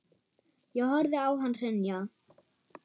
Ég horfði á hann hrynja.